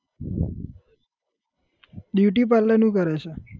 Beauty parlour નું કરે છે?